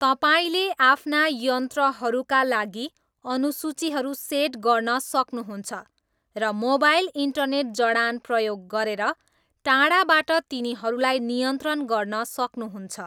तपाईँले आफ्ना यन्त्रहरूका लागि अनुसूचीहरू सेट गर्न सक्नुहुन्छ र मोबाइल इन्टरनेट जडान प्रयोग गरेर टाढाबाट तिनीहरूलाई नियन्त्रण गर्न सक्नुहुन्छ